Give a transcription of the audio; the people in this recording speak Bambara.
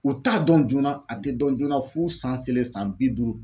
U t'a dɔn joona a te dɔn joona f'u san seleri san bi duuru